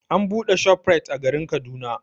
An buɗe ShopRite a garin Kaduna.